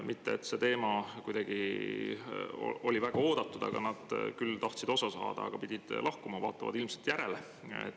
Mitte, et see teema oleks olnud väga oodatud, aga nad tahtsid siiski osa saada ja kuulda, mis te selle kohta kostate, kuid pidid enne lahkuma.